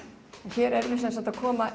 hér erum við að koma